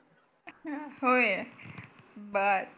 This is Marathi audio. अह होय बर